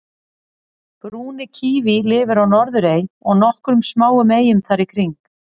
brúni kíví lifir á norðurey og nokkrum smáum eyjum þar í kring